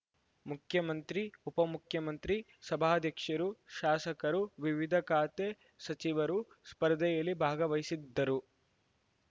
ಮುಖ್ಯಮಂತ್ರಿ ಉಪಮುಖ್ಯಮಂತ್ರಿ ಸಭಾಧ್ಯಕ್ಷರು ಶಾಸಕರು ವಿವಿಧ ಖಾತೆ ಸಚಿವರು ಸ್ಪರ್ಧೆಯಲ್ಲಿ ಭಾಗವಹಿಸಿದ್ದರು